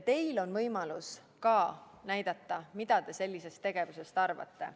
Teilgi on võimalus näidata, mida te sellisest tegevusest arvate.